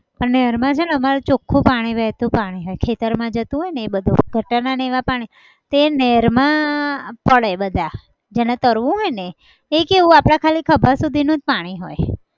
અને નેરમાં છે ને અમારે ચોખું પાણી વેહતું પાણી હોય ખેતરમાં જતું હોય ને એ બધું. ગટરના ને એવા પાણી. તે નેરમાં પડે બધા જેને તરવું હોય ને એ એ કેવું આપણા ખાલી ખભા સુધીનું જ પાણી હોય.